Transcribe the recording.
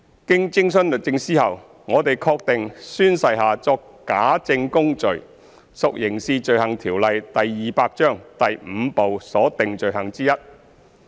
經徵詢律政司後，我們確定宣誓下作假證供罪屬《刑事罪行條例》第 V 部所訂罪行之一。